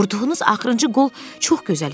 Vurduğunuz axırıncı qol çox gözəl idi.